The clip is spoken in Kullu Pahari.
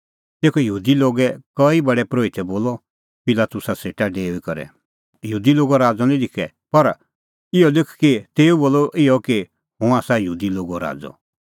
तेखअ यहूदी लोगे कई प्रधान परोहितै बोलअ पिलातुसा सेटा डेऊई करै यहूदी लोगो राज़अ निं लिखै पर इहअ लिख कि तेऊ बोलअ इहअ कि हुंह आसा यहूदी लोगो राज़अ